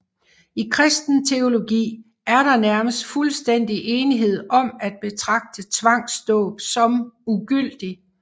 I kristen teologi er der nærmest fuldstændig enighed om at betragte tvangsdåb som ugyldig